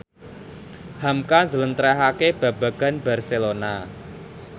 hamka njlentrehake babagan Barcelona